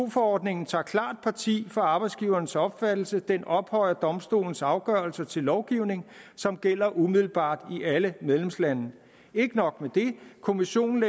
forordningen tager klart parti for arbejdsgivernes opfattelse den ophøjede domstolens afgørelse til lovgivning som gælder umiddelbart i alle medlemslande og ikke nok med det kommissionen